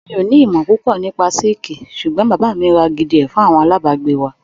Mi ò ní ìmọ̀ púpò nípa síkìì sùgbón bàbá mi ra gidi ẹ fún àwọn alábàgbé wa.